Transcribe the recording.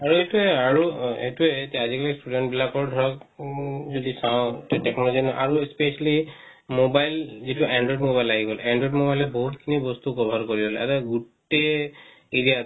আৰু এটোয়ে আৰু এটোয়ে এটো আজি-কালি students বিলাকৰ ধৰক উম যদি চাও technology আৰু specially mobile যেটো android mobile আহি গ'ল android mobile ত বহুত খিনি বস্তু cover কৰে আৰু গুটে area